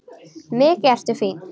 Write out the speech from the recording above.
Mikið ertu fín!